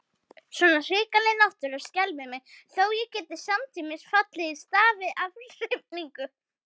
Svona hrikaleg náttúra skelfir mig, þó ég geti samtímis fallið í stafi af hrifningu.